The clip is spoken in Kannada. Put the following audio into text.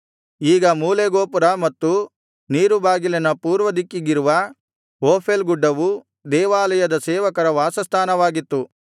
ಈಗ ಮೂಲೆ ಗೋಪುರ ಮತ್ತು ನೀರು ಬಾಗಿಲಿನ ಪೂರ್ವದಿಕ್ಕಿಗಿರುವ ಓಫೇಲ್ ಗುಡ್ಡವು ದೇವಾಲಯದ ಸೇವಕರ ವಾಸಸ್ಥಾನವಾಗಿತ್ತು